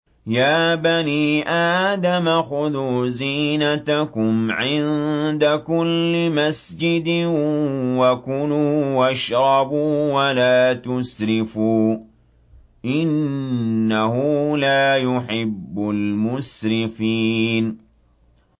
۞ يَا بَنِي آدَمَ خُذُوا زِينَتَكُمْ عِندَ كُلِّ مَسْجِدٍ وَكُلُوا وَاشْرَبُوا وَلَا تُسْرِفُوا ۚ إِنَّهُ لَا يُحِبُّ الْمُسْرِفِينَ